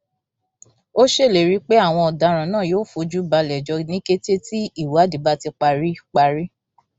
ó ṣèlérí pé àwọn ọdaràn náà yóò fojú balẹẹjọ ní kété tí ìwádìí bá ti parí parí